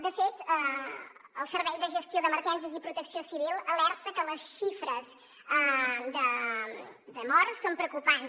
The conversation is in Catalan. de fet el servei de gestió d’emergències i protecció civil alerta que les xifres de morts són preocupants